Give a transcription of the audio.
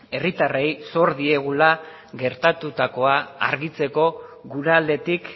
herritarrei sor diegula gertatutakoa argitzeko gure aldetik